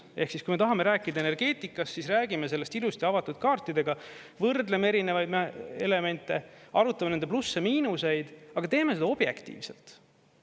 Ehk kui me tahame rääkida energeetikast, siis räägime sellest ilusti avatud kaartidega, võrdleme erinevaid elemente, arutame nende plusse-miinuseid, aga teeme seda objektiivselt.